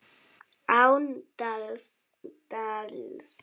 Án dals.